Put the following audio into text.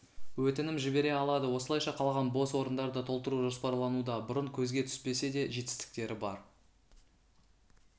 өтінім жібере алады осылайша қалған бос орындарды толтыру жоспарлануда бұрын көзге түспесе де жетістіктері бар